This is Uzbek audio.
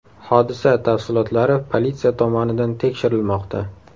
Hodisa tafsilotlari politsiya tomonidan tekshirilmoqda.